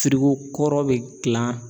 kɔrɔ bɛ gilan